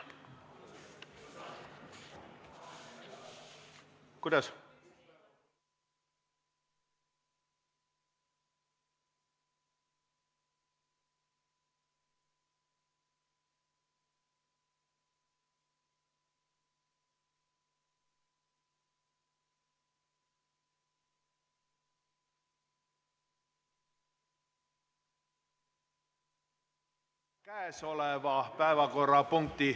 Istungi lõpp kell 13.35.